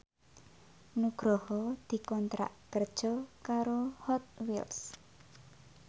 Nugroho dikontrak kerja karo Hot Wheels